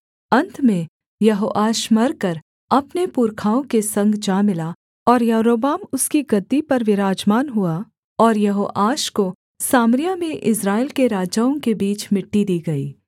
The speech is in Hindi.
अन्त में यहोआश मरकर अपने पुरखाओं के संग जा मिला और यारोबाम उसकी गद्दी पर विराजमान हुआ और यहोआश को सामरिया में इस्राएल के राजाओं के बीच मिट्टी दी गई